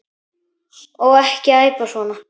Og ekki æpa svona.